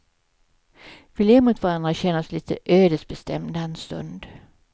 Vi ler mot varandra och känner oss lite ödesbestämda en stund.